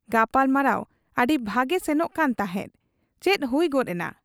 ᱜᱟᱯᱟᱞᱢᱟᱨᱟᱣ ᱟᱹᱰᱤ ᱵᱷᱟᱹᱜᱤ ᱥᱮᱱᱚᱜ ᱠᱟᱱ ᱛᱟᱦᱮᱸᱫ ᱾ ᱪᱮᱫ ᱦᱩᱭ ᱜᱚᱫ ᱮᱱᱟ ?